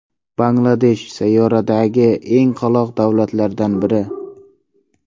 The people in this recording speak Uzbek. Bangladesh sayyoradagi eng qoloq davlatlardan biri.